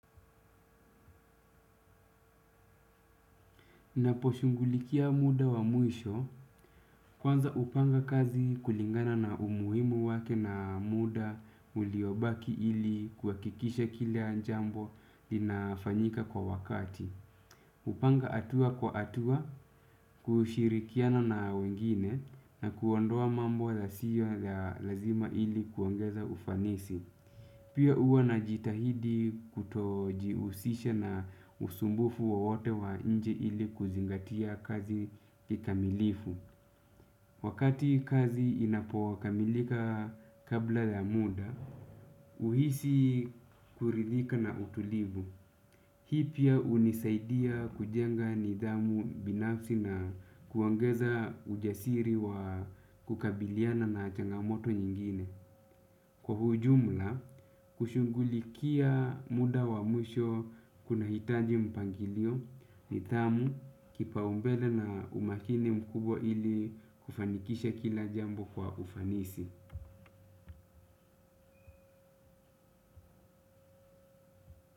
Naposhughulikia muda wa mwisho kwanza hupanga kazi kulingana na umuhimu wake na muda uliobaki ili kuhakikisha kila jambo linafanyika kwa wakati. Hupanga hatua kwa hatua kushirikiana na wengine na kuondoa mambo yasiyo ya lazima ili kuongeza ufanisi. Pia huwa na jitahidi kutojihusisha na usumbufu wowote wa nje ili kuzingatia kazi kikamilifu. Wakati kazi inapokamilika kabla ya muda, uhisi kuridhika na utulivu. Hii pia hunisaidia kujenga nidhamu binafsi na kuongeza ujasiri wa kukabiliana na changamoto nyingine. Kwa ujumla, kushughulikia muda wa mwisho kunahitaji mpangilio nidhamu kipaumbele na umakini mkubwa ili kufanikisha kila jambo kwa ufanisi.